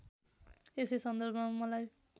यसै सन्दर्भमा मलाई